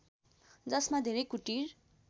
जसमा धेरै कुटीर